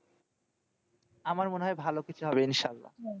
আমার মনে হয় ভালো কিছু হবে ইনশাআল্লা।